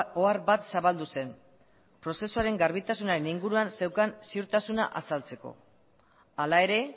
ohar bat zabaldu zen prozesuaren garbitasunaren inguruan zeukan ziurtasuna azaltzeko hala ere